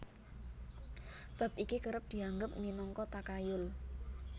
Bab iki kerep dianggep minangka takayul